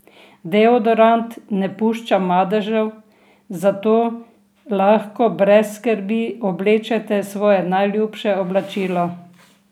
Deodorant ne pušča madežev, zato lahko brez skrbi oblečete svoje najljubše oblačilo.